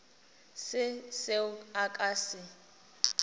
se seo a ka se